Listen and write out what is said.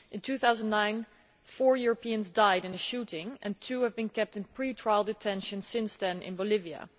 In 2009 four Europeans died in a shooting and two have been kept in pre trial detention since then in Bolivia.